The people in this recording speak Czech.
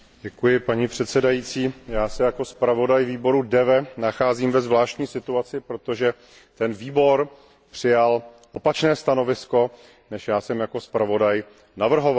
Paní předsedající, já se jako navrhovatel výboru DEVE nacházím ve zvláštní situaci, protože ten výbor přijal opačné stanovisko, než jsem já jako zpravodaj navrhoval.